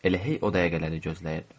Elə hey o dəqiqələri gözləyirdim.